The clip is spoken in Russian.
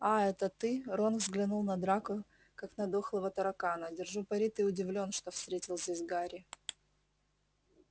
а-а это ты рон взглянул на драко как на дохлого таракана держу пари ты удивлён что встретил здесь гарри